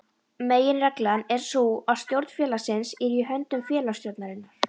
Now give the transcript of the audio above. Meginreglan er sú að stjórn félagsins er í höndum félagsstjórnarinnar.